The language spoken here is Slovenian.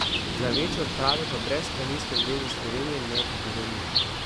Za večje odprave pa brez Planinske zveze Slovenije ne bi bilo nič.